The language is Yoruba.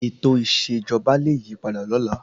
Ètò ìṣèjọba lẹ yí padà lọ́la.